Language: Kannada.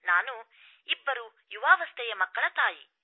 ನಾನು ಯುವಾವಸ್ಥೆಯ ಇಬ್ಬರು ಮಕ್ಕಳ ತಾಯಿ